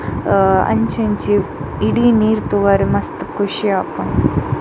ಅಹ್ ಅಂಚಿ ಇಂಚಿ ಇಡೀ ನೀರ್ ತೂವರೆ ಮಸ್ತ್ ಖುಷಿ ಆಪುಂಡು.